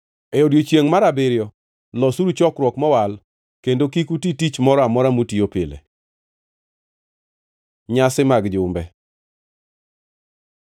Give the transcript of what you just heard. E odiechiengʼ mar abiriyo losuru chokruok mowal kendo kik uti tich moro amora mutiyo pile. Nyasi mag jumbe